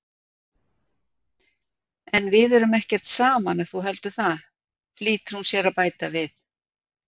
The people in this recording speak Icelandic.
En við erum ekkert saman ef þú heldur það, flýtir hún sér að bæta við.